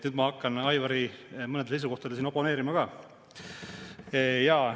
Nüüd ma hakkan Aivari mõnele seisukohale siin oponeerima ka.